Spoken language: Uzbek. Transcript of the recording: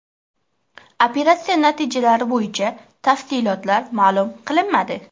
Operatsiya natijalari bo‘yicha tafsilotlar ma’lum qilinmadi.